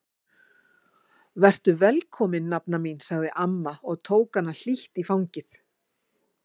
Vertu velkomin nafna mín sagði amma og tók hana í hlýtt fangið.